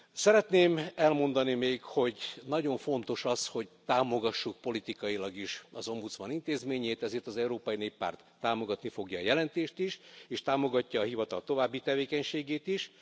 Szeretném elmondani még, hogy nagyon fontos az, hogy támogassuk politikailag is az ombudsman intézményét, ezért az Európai Néppárt támogatni fogja a jelentést is és támogatja a hivatal további tevékenységét is.